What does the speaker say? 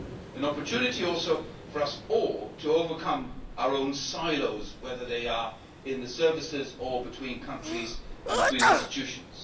An opportunity also for us all to overcome our own silos, whether they are in the services or between countries and between institutions.